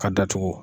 Ka datugu